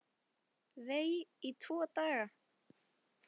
Vei, í tvo daga!